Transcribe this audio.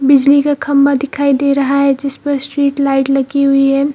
बिजली का खंबा दिखाई दे रहा है जिस पर स्ट्रीट लाइट लगी हुई है।